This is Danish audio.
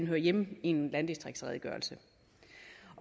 høre hjemme i en landdistriktsredegørelse